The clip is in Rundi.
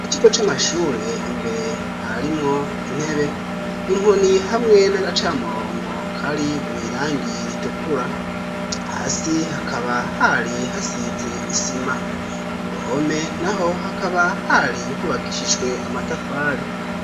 Ikigo c'amashure imbere harimwo intebe, inkoni, hamwe n'agacamurongo kari mw' irangi ritukura. Hasi hakaba hari hasize isima. Ku ruhome naho hakaba hari hubakishijwe amatafari.